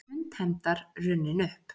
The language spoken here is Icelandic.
Stund hefndar runnin upp